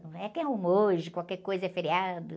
Não é que é um hoje, qualquer coisa é feriado.